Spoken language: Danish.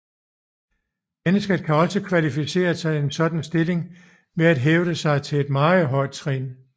Mennesket kan også kvalificere sig til sådan en stilling ved at hæve sig til et meget højt trin